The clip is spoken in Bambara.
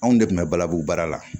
Anw de kun bɛ balabu baara la